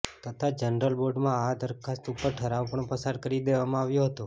તથા જનરલ બોર્ડમાં આ દરખાસ્ત ઉપર ઠરાવ પણ પસાર કરી દેવામાં આવ્યો હતો